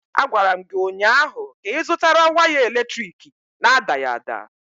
Agwara m gị ụnyaahụ ka ịzụtara waya eletrik na-adaghị ada!